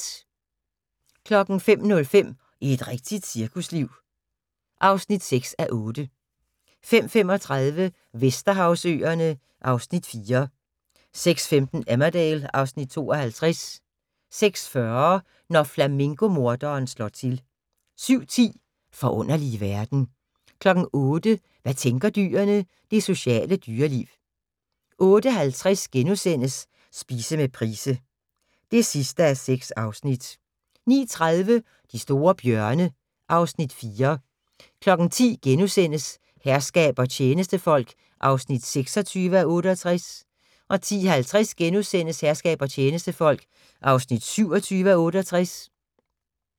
05:05: Et rigtigt cirkusliv (6:8) 05:35: Vesterhavsøerne (Afs. 4) 06:15: Emmerdale (Afs. 52) 06:40: Når flamingo-morderen slår til 07:10: Forunderlige verden 08:00: Hvad tænker dyrene? – Det sociale dyreliv 08:50: Spise med Price (6:6)* 09:30: De store bjørne (Afs. 4) 10:00: Herskab og tjenestefolk (26:68)* 10:50: Herskab og tjenestefolk (27:68)*